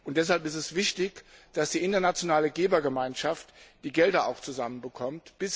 Deshalb ist es wichtig, dass die internationale Gebergemeinschaft die Gelder zusammenbekommt.